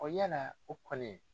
yala o kɔni.